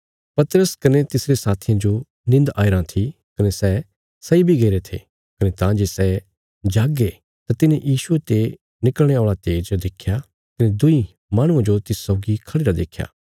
पतरस कने तिसरे साथियां जो निन्द आईराँ थी कने सै सैई बी गईरे थे कने तां जे सै जागे तां तिन्हे यीशुये ते निकल़णे औल़ा तेज देख्या कने दुईं माहणुआं जो तिस सौगी खढ़िरा देख्या